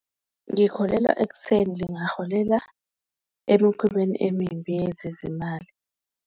Ngikholelwa ekutheni lingaholela emikhubeni emimbi yezezimali.